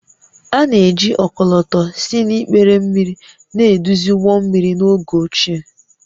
A na-eji ọkọlọtọ si n’ikpere mmiri na-eduzi ụgbọ mmiri n’oge ochie